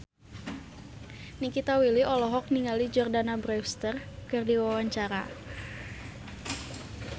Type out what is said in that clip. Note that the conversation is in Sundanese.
Nikita Willy olohok ningali Jordana Brewster keur diwawancara